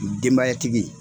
Denbayatigi.